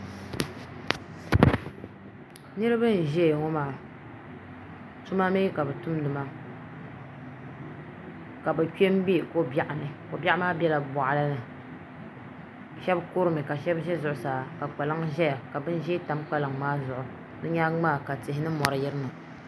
Niraba n ʒɛya ŋo maa tuma mii ka bi tumdi maa ka bi kpɛ n bɛ ko biɛɣu ni ko biɛɣu maa biɛla boɣali ni shab kurimi ka shab ʒɛ zuɣusaa ka kpalaŋ ʒɛya ka bin ʒiɛ tam kpalaŋ maa zuɣu di nyaangi maa ka tihi ni mori yirina